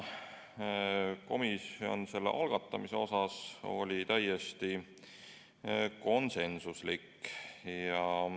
Komisjon oli eelnõu algatamise osas täiesti konsensuslik.